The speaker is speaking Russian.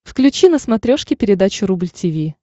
включи на смотрешке передачу рубль ти ви